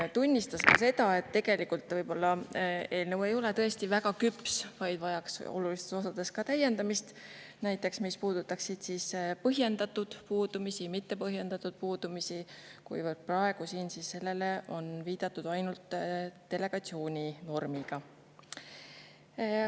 Ta tunnistas ka seda, et võib-olla eelnõu ei ole tõesti väga küps, vaid vajaks olulistes osades täiendamist, näiteks mis puudutab põhjendatud puudumisi ja mitte põhjendatud puudumisi, kuivõrd praegu siin on sellele viidatud ainult delegatsiooninormiga.